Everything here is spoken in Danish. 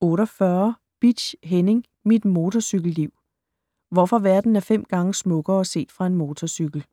48 Bitsch, Henning: Mit motorcykelliv: hvorfor verden er fem gange smukkere set fra en motorcykel